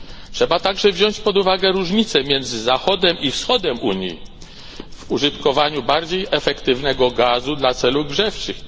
Trzeba także wziąć pod uwagę różnicę między Zachodem a Wschodem Unii w użytkowaniu bardziej efektywnego gazu dla celów grzewczych.